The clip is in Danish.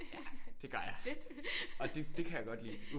Ja det gør jeg og det kan jeg godt lide